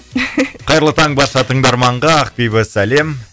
қайырлы таң барша тыңдарманға ақбибі сәлем